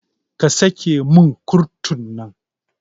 Ka sake mun kurutun nan